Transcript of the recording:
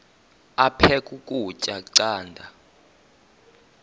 aphek ukutya canda